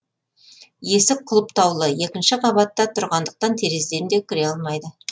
есік құлыптаулы екінші қабатта тұрғандықтан терезеден де кіре алмайды